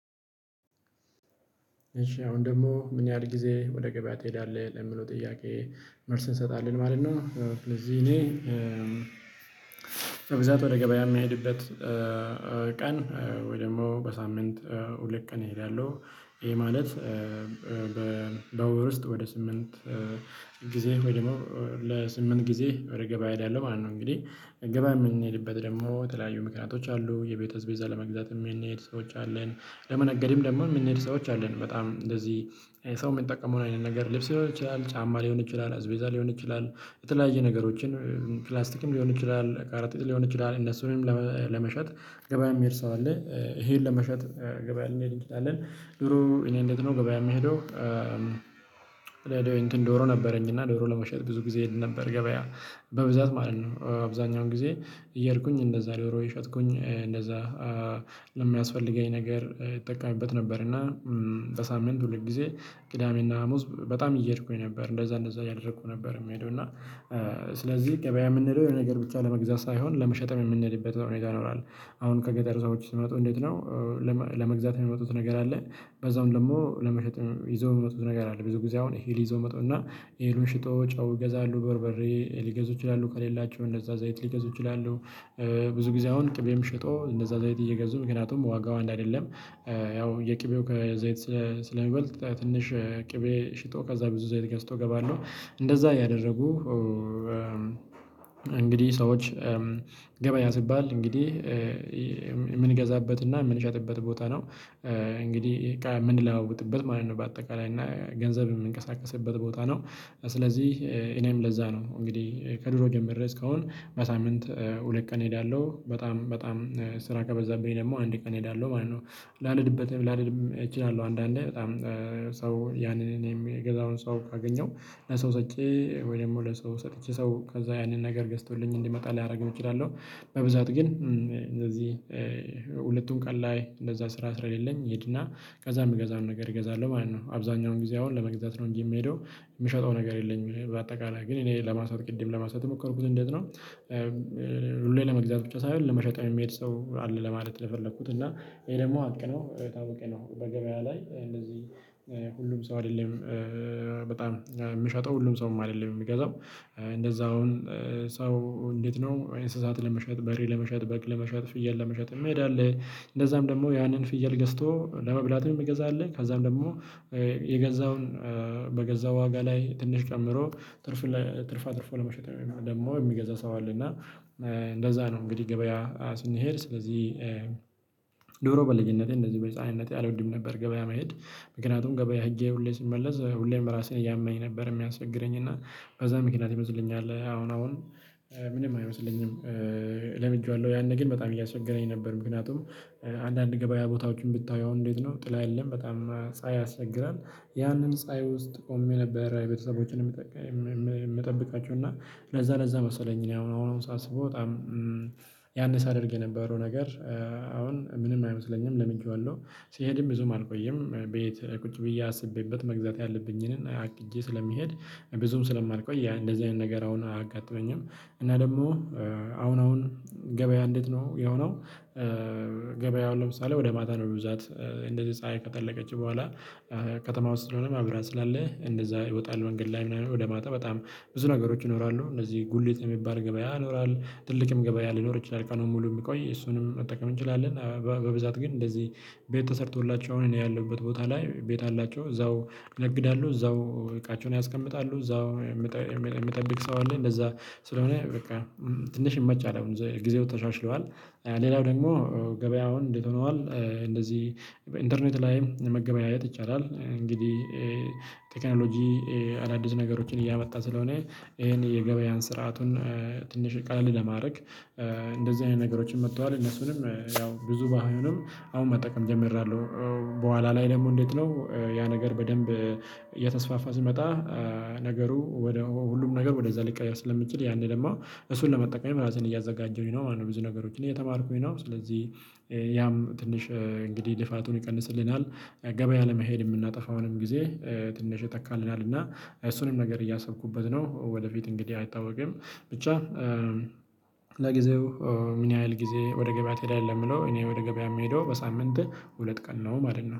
እሺ፣ አሁን ደግሞ ምን ያህል ጊዜ ወደ ገበያ ትሄዳለህ ለሚለው ጥያቄ መልስ እንሰጣለን ማለት ነው። ስለዚህ እኔ በብዛት ወደ ገበያ የሚሄድበት ቀን ወይ ደግሞ በሳምንት ሁለት ቀን እሄዳሉ። ይሄ ማለት በወር ውስጥ ወደ ስምንት ጊዜ ወይ ደግሞ ለስምንት ጊዜ ወደ ገበያ እሄዳለሁ ማለት ነው። እንግዲህ ገበያ የምንሄድበት ደግሞ የተለያዩ ምክንያቶች አሉ። የቤት አስቤዛ ለመግዛት የምንሄድ ሰዎች አለን፣ ለመነገድም ደግሞ የምንሄድ ሰዎች አለን በጣም እንደዚህ ሰው የሚጠቀመውን አይነት ነገር ልብስ ሊሆን ይችላል ጫማ ሊሆን ይችላል አስቤዛ ሊሆን ይችላል የተለያየ ነገሮችን ፕላስቲክም ሊሆን ይችላል፣ ቀረጢት ሊሆን ይችላል እነሱንም ለመሸጥ ገበያ የሚሄድ ሰው አለ። ይሄን ለመሸጥ ገበያ ልንሄድ እንችላለን። ድሮ እኔ እንዴት ነው ገበያ የምሄደው እንትን ዶሮ ነበረኝ እና ዶሮ ለመሸጥ ብዙ ጊዜ እሄድ ነበር። ገበያ በብዛት ማለት ነው አብዛኛውን ጊዜ እየሄድኩኝ እንደዛ ዶሮ እየሸጥኩኝ እንደዛ ለሚያስፈልገኝ ነገር እጠቀምበት ነበር። እና በሳምንት ሁል ጊዜ ቅዳሜና ሀሙስ በጣም እየሄድኩኝ ነበር እንደዛ እንደዛ እያደረኩኝ ነበር የሚሄደው እና ስለዚህ ገበያ የምንሄደው የሆነ ነገር ብቻ ለመግዛት ሳይሆን ለመሸጥም የምንሄድበት ሁኔታ ይኖራል። አሁን ከገጠር ሰዎች ሲመጡ እንዴት ነው ለመግዛት የሚመጡት ነገር አለ በዛውም ደግሞ ለመሸጥ ይዞ የሚመጡት ነገር አለ ብዙ ጊዜ አሁን እህል ይዘው ይመጡ እና እህሉን ሽጠው ጨው ይገዛሉ በርበሬ ሊገዙት ይችላሉ ከሌላቸው እንደዛ ዘይት ሊገዙት ይችላሉ ብዙ ጊዜ አሁን ቅቤም ሽጦ እንደዛ ዘይት እየገዙ ምክንያቱም ዋጋው አንድ አይደለም ያው የቅቤው ከዘይት ስለ ስለሚበልጥ ትንሽ ቅቤ ሽጦ ከዛ ብዙ ዘይት ገዝቶ ይገባሉ። እንደዛ እያደረጉ እንግዲህ ሰዎች ገበያ ሲባል እንግዲህ የምንገዛበትና የምንሸጥበት ቦታ ነው እንግዲህ እቃ የምንለዋወጥበት ማለት ነው በአጠቃላይ እና ገንዘብ የሚንቀሳቀስበት ቦታ ነው። ስለዚህ እኔም ለዛ ነው እንግዲህ ከድሮ ጀምሬ እስካሁን በሳምንት ሁለት ቀን እሄዳለሁ በጣም በጣም ስራ ከበዛብኝ ደግሞ አንድ ቀን እሄዳለሁ ማለት ነው ላልሄድበትም ላልሄድም እችላለሁ አንዳንዴ በጣም ሰው ያንን እኔ የምገዛውን ሰው ካገኘው ለሰው ሰጥቼ ወይ ደግሞ ለሰው ሰጥቼ ሰው ከዛ ያንን ነገር ገዝቶልኝ እንዲመጣ ላደርግም እችላለሁ። በብዛት ግን እንደዚህ ሁለቱም ቀን ላይ እንደዛ ስራ ስለሌለኝ እሄድና ከዛ የምገዛውን ነገር እገዛለሁ ማለት ነው አብዛኛውን ጊዜ አሁን ለመግዛት ነው እንጂ የምሄደው የምሸጠው ነገር የለኝም በአጠቃላይ ግን እኔ ለማንሳት ቅድም ለማንሳት የሞከርኩት እንዴት ነው ሁሌ ለመግዛት ብቻ ሳይሆን ለመሸጥም የሚሄድ ሰው አለ ለማለት ነው የፈለኩት እና ይሄ ደግሞ ሀቅ ነው። የታወቀ ነው በገበያ ላይ እንደዚህ ሁሉም ሰው አይደለም በጣም የሚሸጠው ሁሉም ሰውም አይደለም የሚገዛው እንደዛ አሁን ሰው እንዴት ነው እንስሳት ለመሸጥ በሬ ለመሸጥ በግ ለመሸጥ ፍየል ለመሸጥ የሚሄድ አለ እንደዛም ደግሞ ያንን ፍየል ገዝቶ ለመብላትም የሚገዛ አለ ከዛም ደግሞ የገዛውን በገዛ ዋጋ ላይ ትንሽ ጨምሮ ትርፍ ለ ትርፍ አትርፎ ለመሸጥ ወይም ደግሞ የሚገዛ ሰው አለ እና እንደዛ ነው እንግዲህ ገበያ ስንሄድ ስለዚህ ድሮ በልጅነቴ እንደዚህ በህፃንነቴ አልወድም ነበር ገበያ መሄድ ምክንያቱም ገበያ ሄጄ ሁሌ ስመለስ ሁሌም ራሴን እያመኝ ነበር የሚያስቸግረኝ እና በዛ ምክንያት ይመስለኛል አሁን አሁን ምንም አይመስለኝም ለምጄዋለሁ ያኔ ግን በጣም እያስቸገረኝ ነበር ምክንያቱም አንዳንድ ገበያ ቦታዎችን ብታዩ አሁን እንዴት ነው፣ ጥላ የለም በጣም ፀሀይ ያሰቸግራል። ያንን ፀሀይ ውስጥ ቆሜ ነበር የቤተሰቦችን የምጠቅ የም የምጠብቃቸው እና ለዛ ለዛ መሰለኝ እኔ አሁን አሁን ሳስበው በጣም ያንን ሳደርግ የነበረው ነገር አሁን ምንም አይመስለኝም ለምጄዋለሁ፣ ስሄድም ብዙም አልቆይም ቤት ቁጭ ብዬ አስቤበት መግዛት ያለብኝን አቅጄ ስለሚሄድ ብዙም ስለማልቆይ እንደዚህ አይነት ነገር አሁን አያጋጥመኝም እና ደግሞ አሁን አሁን ገበያ እንዴት ነው የሆነው ገበያው ለምሳሌ ወደ ማታ ነው ብዛት እንደዚህ ፀሀይ ከጠለቀች በኋላ ከተማ ውስጥ ስለሆነ ማብራት ስላለ እንደዛ ይወጣል መንገድ ላይ ምናምን ወደ ማታ በጣም ብዙ ነገሮች ይኖራሉ እነዚህ ጉሊት የሚባል ገበያ ይኖራል ትልቅም ገበያ ሊኖር ይችላል ቀኑን ሙሉ የሚቆይ እሱንም መጠቀም እንችላለን በብዛት ግን እንደዚህ ቤት ተሰርቶላቸው አሁን እኔ ያለሁበት ቦታ ላይ ቤት አላቸው እዛው ይነግዳሉ እዛው እቃቸውን ያስቀምጣሉ እዛው ሚጠ የሚጠብቅ ሰው አለ እንደዛ ስለሆነ በቃ ትንሽ ይመቻል አሁን ጊዜው ተሻሽሏል ሌላው ደግሞ ገበያውን እንዴት ሆንዋል እንደዚህ በኢንተርኔት ላይ መገበያየት ይቻላል እንግዲህ ቴክኖሎጂ አዳዲስ ነገሮችን እያመጣ ስለሆነ ይሄን የገበያን ስርዓቱን ትንሽ ቀለል ለማድረግ እንደዚህ አይነት ነገሮችን መጥተዋል እነሱንም ያው ብዙ ባይሆንም አሁን መጠቀም ጀምሬያለሁ በኋላ ላይ ደግሞ እንዴት ነው ያ ነገር በደንብ እየተስፋፋ ሲመጣ ነገሩ ወደ ሁሉም ነገር ወደዛ ሊቀየር ስለሚችል ያኔ ደግሞ እሱን ለመጠቀም ራሴን እያዘጋጀሁኝ ነው ማለት ነው ብዙ ነገሮችን እየተማርኩኝ ነው ስለዚህ ያም ትንሽ እንግዲህ ልፋቱን ይቀንስልናል ገበያ ለመሄድ የምናጠፋውንም ጊዜ ትንሽ ይተካልናል እና እሱንም ነገር እያሰብኩበት ነው ወደፊት እንግዲህ አይታወቅም ብቻ ለጊዜው ምን ያህል ጊዜ ወደ ገበያ ትሄዳለህ ለሚለው እኔ ወደ ገበያ የምሄደው በሳምንት ሁለት ቀን ነው ማለት ነው